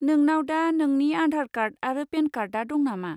नोंनाव दा नोंनि आधार कार्ड आरो पेन कार्डआ दं नामा?